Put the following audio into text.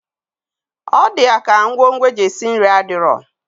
Ọdi yaka ngwo ngwo eji esi nri adiro.